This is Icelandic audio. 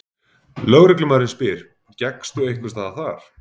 Lögreglumaðurinn spyr: Gekkstu einhversstaðar þar?